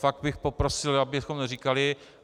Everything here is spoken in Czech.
Fakt bych poprosil, abychom říkali...